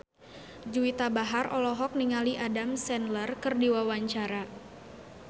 Juwita Bahar olohok ningali Adam Sandler keur diwawancara